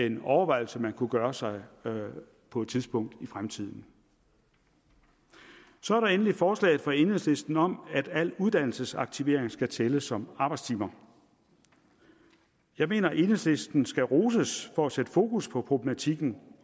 en overvejelse man kunne gøre sig på et tidspunkt i fremtiden så er der endelig et forslag fra enhedslisten om at al uddannelsesaktivering skal tælle som arbejdstimer jeg mener enhedslisten skal roses for at sætte fokus på problematikken